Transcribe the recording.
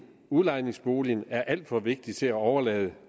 udlejningsboligen er alt for vigtig til at overlade